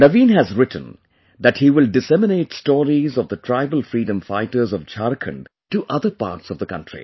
Naveen has written that he will disseminate stories of the tribal freedom fighters of Jharkhand to other parts of the country